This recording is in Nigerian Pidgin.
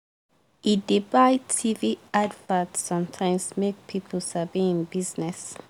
e dey buy tv advert sometimes make people sabi hin business.